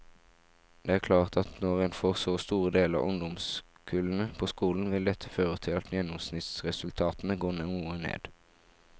Det er klart at når en får så store deler av ungdomskullene på skolen, vil dette føre til at gjennomsnittsresultatene går noe ned.